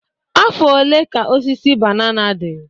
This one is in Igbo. Afọ ole ka osisi banana dị?